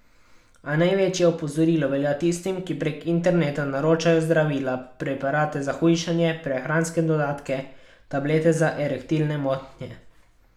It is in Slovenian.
A največje opozorilo velja tistim, ki prek interneta naročajo zdravila, preparate za hujšanje, prehranske dodatke, tablete za erektilne motnje ...